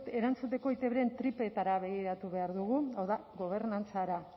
erantzuteko eitbren tripetara begiratu behar dugu hau da gobernantzara